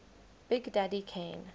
big daddy kane